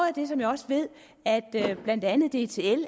af det som jeg også ved at blandt andet dtl